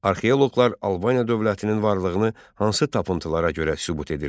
Arxeoloqlar Albaniya dövlətinin varlığını hansı tapıntılara görə sübut edirlər?